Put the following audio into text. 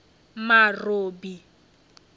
marobi